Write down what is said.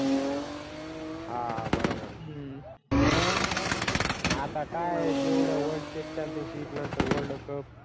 हा बरोबरये आता काय तेवढं वर्ष championship नंतर world cup